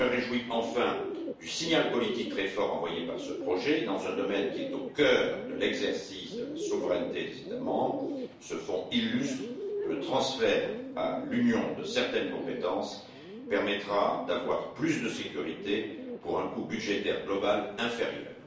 Je me réjouis enfin du signal politique très fort envoyé par ce projet dans un domaine qui est au cœur de l'exercice de la souveraineté des États membres. Ce fonds illustre que le transfert à l'Union de certaines compétences permettra d'avoir plus de sécurité pour un coût budgétaire global inférieur.